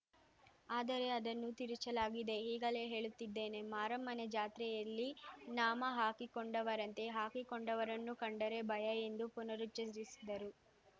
ಅದರೆ ಅದನ್ನು ತಿರುಚಲಾಗಿದೆ ಈಗಲೇ ಹೇಳುತ್ತಿದ್ದೇನೆ ಮಾರಮ್ಮನ ಜಾತ್ರೆಯಲ್ಲಿ ನಾಮ ಹಾಕಿಕೊಂಡವರಂತೆ ಹಾಕಿಕೊಂಡವರನ್ನು ಕಂಡರೆ ಭಯ ಎಂದು ಪುನರುಚ್ಚರಿಸಿದರು